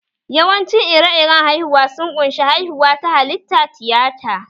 Yawancin ire-iren haihuwa sun ƙunshi:-haihuwa ta halitta, tiyata